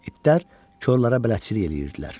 İtlər korlara bələdçilik eləyirdilər.